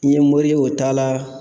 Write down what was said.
N ye mori ye o t'a la